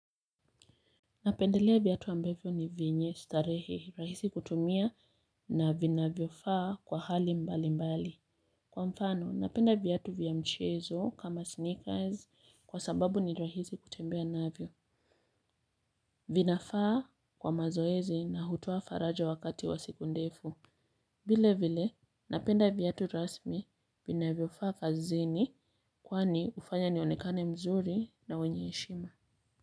Napendelea viatu ambavyo ni vyenye starehe, rahisi kutumia na vinavyofaa kwa hali mbalimbali. Kwa mfano, napenda viatu vya mchezo kama sneakers kwa sababu ni rahisi kutembea navyo. Vinafaa kwa mazoezi na hutoa faraja wakati wa siku ndefu. Vile vile, napenda viatu rasmi vinavyofaa kazini kwani hufanya nionekane mzuri na mwenye heshima.